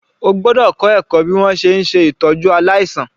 O gbọ́dọ̀ ka ẹ̀kọ́ bí wọn ṣe ń ṣè tọ́jú aláìsàn.